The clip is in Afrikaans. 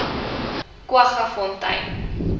kwaggafontein